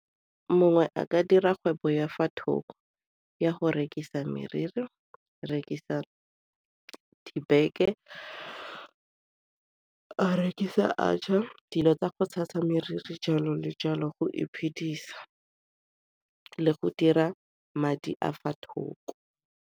Mongwe a ka dira kgwebo ya fa thoko ya go rekisa meriri, rekisa dibeke, a rekisa atchar, dilo tsa go tshasa meriri, jalo le jalo go iphedisa le go dira madi a fa thoko.